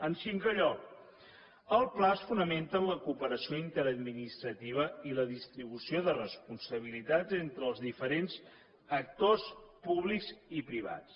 en cinquè lloc el pla es fonamenta en la cooperació interadministrativa i la distribució de responsabilitats entre els diferents actors públics i privats